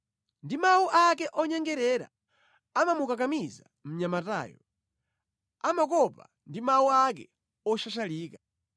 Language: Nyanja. Ndi mawu ake onyengerera amamukakamiza mnyamatayo; amukopa ndi mawu ake oshashalika.